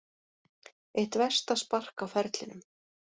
Eitt versta spark á ferlinum